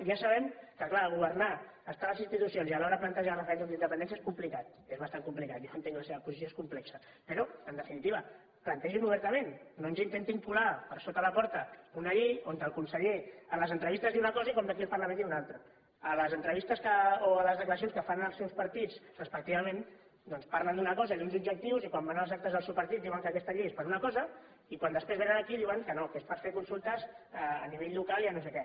ja sabem que clar governar estar a les institucions i alhora plantejar referèndums d’independència és complicat és bastant complicat ja ho entenc la seva posició és complexa però en definitiva plantegin ho obertament no ens intentin colar per sota la porta una llei on el conseller en les entrevistes diu una cosa i quan ve aquí al parlament en diu una altra en les entrevistes o en les declaracions que fan els seus partits respectivament doncs parlen d’una cosa i d’uns objectius i quan van als actes del seu partit diuen que aquesta llei és per a una cosa i quan després vénen aquí diuen que no que és per fer consultes a nivell local i a no sé què